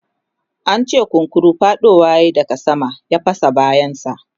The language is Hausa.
an ce kunkuru faɗowa yayi daga sama ya fasa bayan sa